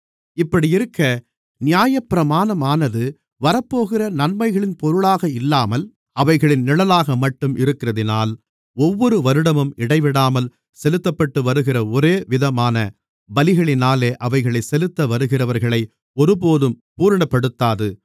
இப்படியிருக்க நியாயப்பிரமாணமானது வரப்போகிற நன்மைகளின் பொருளாக இல்லாமல் அவைகளின் நிழலாகமட்டும் இருக்கிறதினால் ஒவ்வொரு வருடமும் இடைவிடாமல் செலுத்தப்பட்டுவருகிற ஒரேவிதமான பலிகளினாலே அவைகளைச் செலுத்த வருகிறவர்களை ஒருபோதும் பூரணப்படுத்தாது